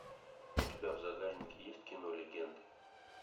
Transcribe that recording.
у тебя в загашнике есть кино легенды